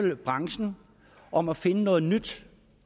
med branchen om at finde noget nyt